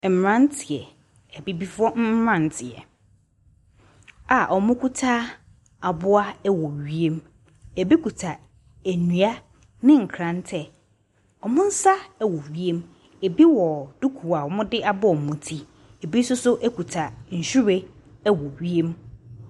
Mmeranteɛ, Abibifoɔ mmeranteɛ a wɔkita aboa wɔ wiem. Ɛbi kita nnua ne nkrantɛ. Wɔn nsa wɔ wiem. Ɛbi wɔ duku a wɔde abɔ wɔn ti. Ɛbi nso so kita nhwiren wɔ wiem.